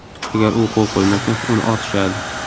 Agar u qo‘l qo‘ymasa, uni otishadi.